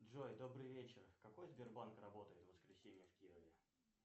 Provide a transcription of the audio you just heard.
джой добрый вечер какой сбербанк работает в воскресенье в кирове